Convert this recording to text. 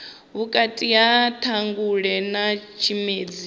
vhukati ha ṱhangule na tshimedzi